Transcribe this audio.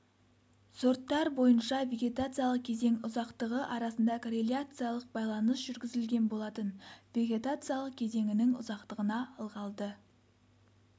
сорттар бойынша вегетациялық кезең ұзақтығы арасында корреляциялық байланыс жүргізілген болатын вегетациялық кезеңінің ұзақтығына ылғалды